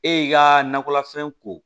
E y'i ka nakɔlafɛn ko